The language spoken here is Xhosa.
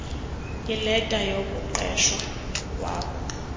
ileta yokuqeshwa kwakho